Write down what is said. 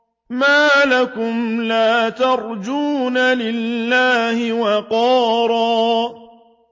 مَّا لَكُمْ لَا تَرْجُونَ لِلَّهِ وَقَارًا